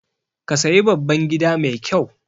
Ka sayi babban gida mai ƙyau